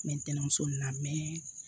N bɛ ntɛnɛmuso nin na